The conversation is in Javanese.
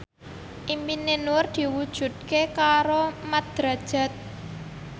impine Nur diwujudke karo Mat Drajat